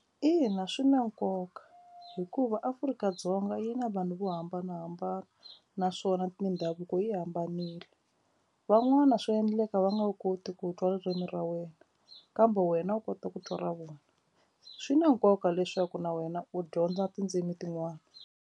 Ina, swi na nkoka hikuva Afrika-Dzonga yi na vanhu vo hambanahambana naswona mindhavuko yi hambanile van'wana swa endleka va nga wu koti ku twa ririmi ra wena kambe wena u kota ku twa ra vona swi na nkoka leswaku na wena u dyondza tindzimi tin'wana.